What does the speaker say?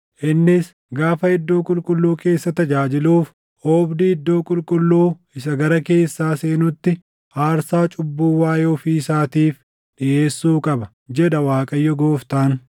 Innis gaafa iddoo qulqulluu keessa tajaajiluuf oobdii iddoo qulqulluu isa gara keessaa seenutti aarsaa cubbuu waaʼee ofii isaatiif dhiʼeessuu qaba, jedha Waaqayyo Gooftaan.